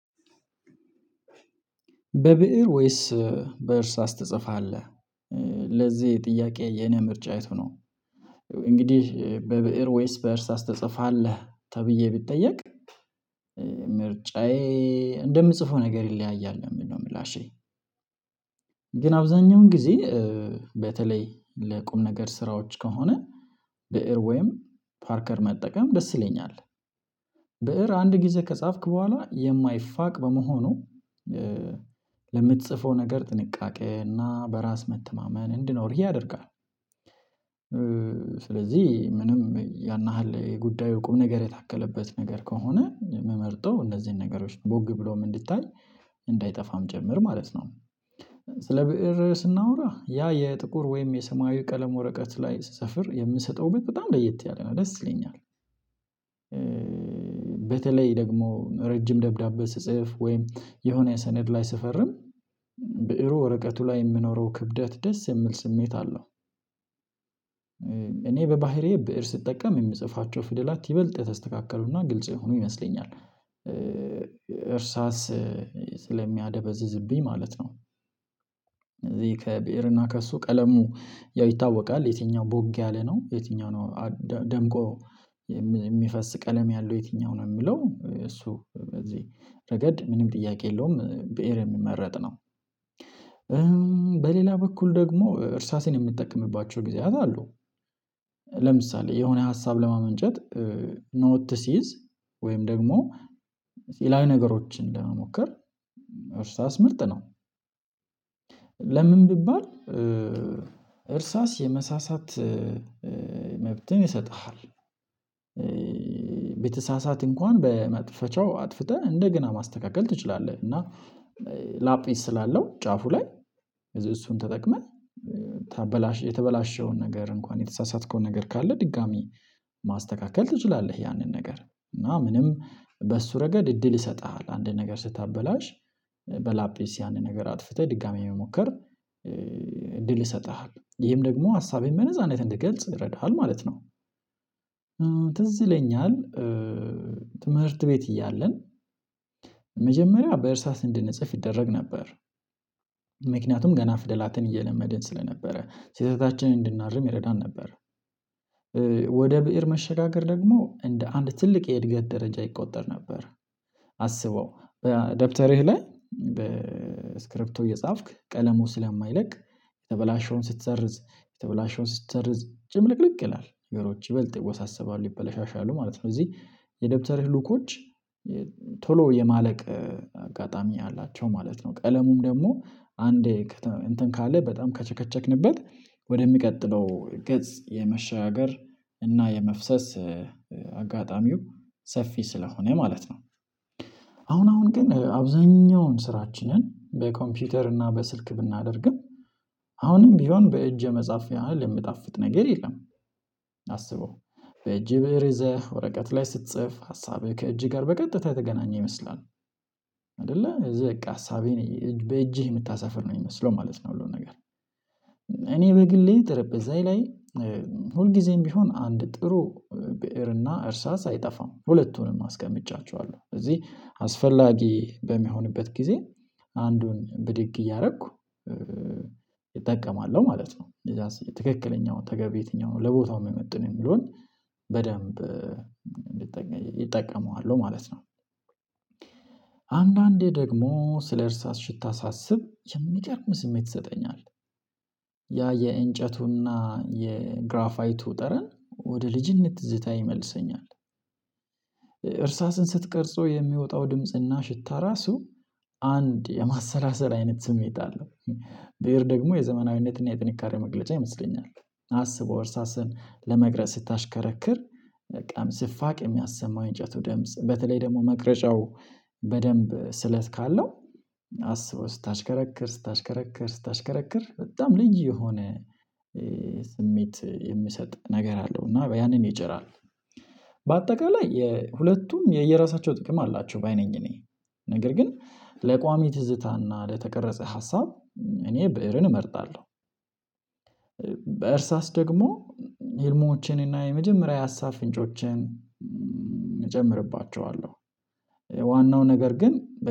በብእር ወይስ በእርሳስ ትጽፋለህ? ለዚህ ጥያቄ የኔ ምርጫ የቱ ነው? እንግዲህ በብእር ወይስ በእርስ ተጽፋለህ ተብዬ ብጠየቅ ምርጫዬ እንደምጽፈው ነገር ይለያያል ነው የምለው ምላሼ። ግን አብዛኛውን ጊዜ በተለይ ለቁም ነገር ስራዎች ከሆነ በኤርዌይም ፓርከር መጠቀም ደስ ይለኛል። ብእር አንድ ጊዜ ከጻፍክ በኋላ የማይፋቅ በመሆኑ ለምትጽፈው ነገር ጥንቃቄና በራስ መተማመን እንድኖርህ ያደርጋል። ስለዚህ ምንም ያን ያህል የጉዳዩ ቁም ነገር የታከለበት ነገር ከሆነ ምመርጠው እነዚህን ነገሮች ቦግ ብሎም እንድታይ እንዳይጠፋም ጭምር ማለት ነው። ስለ ብእር ስናወራ ያ የጥቁር ወይም የሰማያዊ ቀለም ወረቀት ላይ ስሰፍር የምሰጠው ውበት በጣም ለየት ያለ ነው ደስ ይለኛል። በተለይ ደግሞ ረጅም ደብዳቤ ስጽፍ ወይም የሆነ ሰነድ ላይ ስፈርም ብእሩ ወረቀቱ ላይ የምኖረው ክብደት ደስ የምል ስሜት አለው። እኔ በባህሪዬ ብእር ስጠቀም የምጽፋቸው ፍደላት ይበልጥ የተስተካከሉና ግልጽ የሆኑ ይመስለኛል እርሳስ ስለሚያደበዝዝብኝ ማለት ነው። ከብዕርና ከእሱ ቀለሙ ያው ይታወቃል የትኛው ቦግ ያለ ነው የትኛው ነው ደምቆ የሚፈስ ቀለም ያለው የትኛው ነው የሚለው እሱ በዚህ ረገድ ምንም ጥያቄ የለውም ብእር የሚመረጥ ነው። በሌላ በኩል ደግሞ እርሳሴን የምትጠቀምባቸው ጊዜያት አሉ። ለምሳሌ የሆነ ሀሳብ ለማመንጨት ኖት ሲይዝ ወይም ደግሞ ሌላ ነገሮችን ለመሞከር እርሳስ ምርጥ ነው። ለምን ቢባል እርሳስ የመሳሳት መብትን ይሰጥሃል። በተሳሳተ እንኳን በመጥፈቻው አጥፍተህ እንደገና ማስተካከል ትችላለህ እና ላጲስ ስላለው ጫፉ ላይ እሱን ተጠቅመህ የተበላሸውን ነገር እንኳን የተሳሳተከውን ነገር ካለ ድጋሚ ማስተካከል ትችላለህ። ያንን ነገር እና ምንም በሱ ረገድ እድል ይሰጥሃል አንድ ነገር ስታበላሽ በላጴስ ያንን ነገር አጥፍተህ ድጋሚ የሚሞከር እድል ይሰጥሃል ይሄም ደግሞ ሀሳቤን በነጻነት እንድትገልጽ ይረዳሃል ማለት ነው። ትዝይለኛል ትምህርት ቤት እያለን መጀመሪያ በእርሳስ እንድንጽፍ ይደረግ ነበር ምክንያቱም ገና ፍደላትን እየለመድን ስለነበረ ስህተታችንን እንድናርም ይረዳን ነበር። ወደ ብእር መሸጋገር ደግሞ እንደ አንድ ትልቅ የእድገት ደረጃ ይቆጠር ነበር። አስበው በአደብተርህ ላይ በስክሪፕቶ እየጻፍክ ቀለሙ ስለማይለቅ የተበላሸውን ስትሰርዝ የተበላሸውን ስትሰርዝ ጭምልቅልቅ ይላል ነገሮች ይበልጥ ይወሳሰባሉ ይበላሻሻሉ ማለት ነው። እዚህ የደብተርህ ሉኮች ቶሎ የማለቅ አጋጣሚ አላቸው ማለት ነው። ቀለሙም ደግሞ አንዴ እንትን ካለ በጣም ከቸከቸክንበት ወደሚቀጥለው ገጽ የመሻገር እና የመፍሰስ አጋጣሚው ሰፊ ስለሆነ ማለት ነው። አሁን አሁን ግን አብዛኛውን ስራችንን በኮምፒውተር እና በስልክ ብናደርግም አሁንም ቢሆን በእጅ የመጽሐፍ ያህል የምጣፍጥ ነገር የለም። አስበው በእጅ ብእር ይዘህ ወረቀት ላይ ስትጽፍ ሀሳብህ ከእጅ ጋር በቀጥታ የተገናኘ ይመስላል። አይደለ እዚህ በቃ ሀሳቤ ነው በእጅህ የምታሰፍር ነው የሚመስለው ማለት ነው። ሁሉን ነገር እኔ በግሌ ጠረጴዛዬ ላይ ሁልጊዜም ቢሆን አንድ ጥሩ ብእርና እርሳስ አይጠፋም ሁለቱንም አስቀምጫቸዋለሁ አለው እዚህ አስፈላጊ በሚሆንበት ጊዜ አንዱን ብድግ እያደረኩ እጠቀማለሁ ማለት ነው። እዛስ የትክክለኛውን ተገቢ የትኛውን ለቦታው የሚመጥን የሚለውን በደንብ እጠቀመዋለሁ ማለት ነው። አንዳንዴ ደግሞ ስለእርሳ ሽታ ሳስብ የሚገርም ስሜት ይሰጠኛል። ያ የእንጨቱና የግራፋይቱ ጠረን ወደ ልጅነት ትዝታየ ይመልሰኛል። እርሳስን ስትቀርጾ የሚወጣው ድምጽና ሽታ ራሱ አንድ የማሰላሰል አይነት ስሜት አለው። ብእር ደግሞ የዘመናዊነትና የጥንካሬ መግለጫ ይመስለኛል። አስበው እርሳስን ለመቅረጽ ስታሽከረክር በጣም ስፋቅ የሚያሰማው የእንጨቱ ደምጽ በተለይ ደግሞ መቅረጫው በደንብ ስለት ካለው አስበው ስታሽከረክር ስታሽከረክር ስታሽከረክር በጣም ልዩ የሆነ ስሜት የሚሰጥ ነገር አለው እና ያንን ይጭራል። በአጠቃላይ ሁለቱም የየራሳቸው ጥቅም አላቸው ባይ ነኝ እኔ ነገር ግን ለቋሚ ትዝታና ለተቀረጸ ሀሳብ እኔ ብእርን እመርጣለሁ። በእርሳስ ደግሞ ህልሞቼን እና የመጀመሪያ የሀሳብ ፍንጮቸን እጨምርባቸዋለሁ። ዋናው ነገር ግን